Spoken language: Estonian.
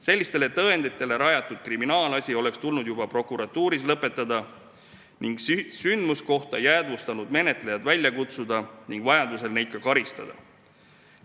Sellistele tõenditele rajatud kriminaalasi oleks tulnud juba prokuratuuris lõpetada, sündmuskohta jäädvustanud menetlejad välja kutsuda ning vajadusel neid ka karistada.